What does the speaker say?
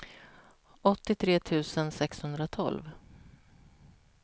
åttiotre tusen sexhundratolv